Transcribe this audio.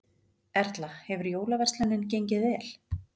Erla: Hefur jólaverslunin gengið vel?